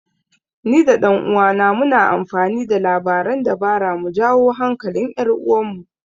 Ni da ɗan uwana muna amfani da labaran dabara mu jawo hankalin 'yar uwarmu.